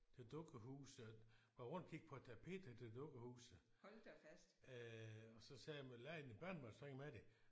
Til dukkehuset var rundt og kigge på tapet til dukkehuset øh og så sagde jeg leger dine børnebørn så ikke med det